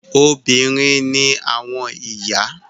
Obìnrin ni àwọn ìyá.